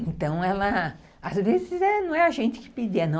Então, ela, às vezes, não é a gente que pedia, não.